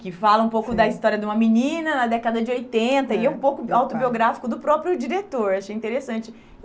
que fala um pouco, sim, da história de uma menina na década de oitenta, e é um pouco autobiográfico do próprio diretor, achei interessante.